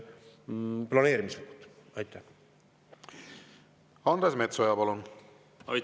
Andres Metsoja, palun!